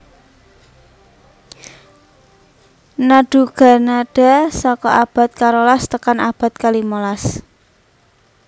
Nadugannada saka abad karolas tekan abad kalimolas